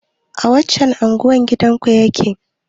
A wacce unguwa gidanku yake?